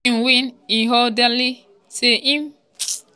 if e win ighodalo say part of im policies go be to help di poor-poor and di elderly.